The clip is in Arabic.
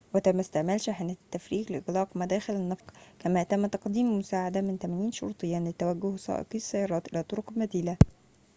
وتم استعمال شاحنات التفريغ لإغلاق مداخل النفق كما تم تقديم المساعدة من 80 شرطياً لتوجيه سائقي السيارات إلى طرقٍ بديلة